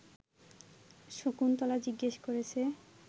শকুন্তলা জিজ্ঞেস করেছে